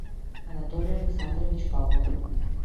анатолий александрович павлов